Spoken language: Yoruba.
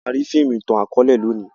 a má ri fíìmù itan-akọọlẹ lóni